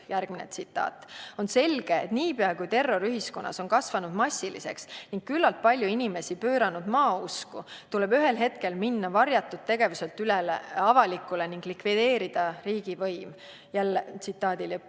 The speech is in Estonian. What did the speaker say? " Järgmine tsitaat: "On selge, et niipea kui terror ühiskonnas on kasvanud massiliseks ning küllalt palju inimesi pööranud maausku, tuleb ühel hetkel minna varjatud tegevuselt üle avalikule ning likvideerida riigivõim.